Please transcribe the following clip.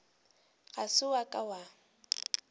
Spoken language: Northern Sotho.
ga se wa ka wa